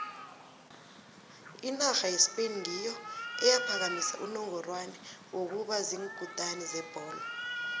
inarha yespain ngiyo eyaphakamisa unongorwana wokuba ziinkutini zebholo